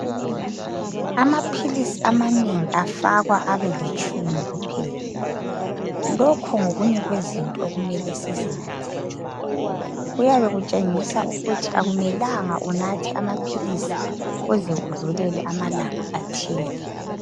Amaphilisi amanengi afakwa abelitshumi kuphela lokhu ngokunye kwezinto okumele sizinanzelele kuyabe kutshengisa ukuthi akumelanga unathe amaphilisi uze udlulele amalanga athile